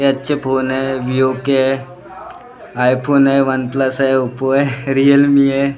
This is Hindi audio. अच्छे फोन है है आइफोन है वन प्लस है ओप्पो है रियलमी है।